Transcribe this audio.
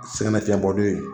Segɛn nafiyɛnbɔ don ye